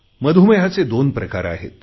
मधुमेहाचे दोन प्रकार आहेत